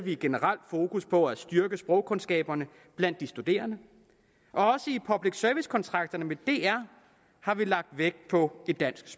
et generelt fokus på at styrke sprogkundskaberne blandt de studerende og også i public service kontrakterne med dr har vi lagt vægt på et dansk